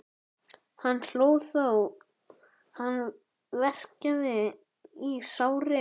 Hann hló þó hann verkjaði í sárin.